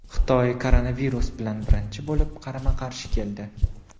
Xitoy koronavirus bilan birinchi bo‘lib qarama-qarshi keldi.